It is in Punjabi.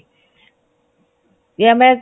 ਯਾ ਮੈਂ